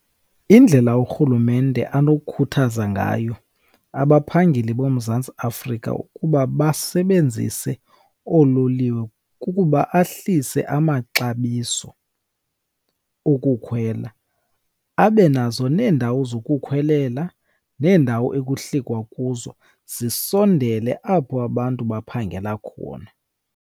Indlela urhulumente anokhuthaza ngayo abaphangeli boMzantsi Afrika ukuba basebenzise oololiwe kukuba ahlise amaxabiso okukhwela. Abe nazo neendawo zokukhwelela neendawo ekuhlikwa kuzo zisondele apho abantu baphangela khona.